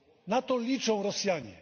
Na to liczą Rosjanie.